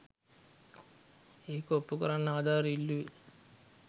ඒක ඔප්පුකරන්න ආධාර ඉල්ලුවෙ